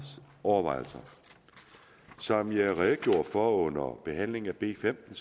overvejelser som jeg redegjorde for under behandlingen af b femten